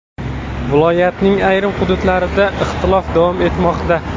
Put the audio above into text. Viloyatning ayrim hududlarida ixtilof davom etmoqda.